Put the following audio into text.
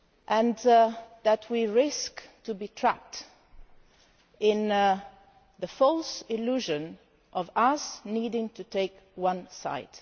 and that we risk being trapped in the false illusion of us needing to take one side.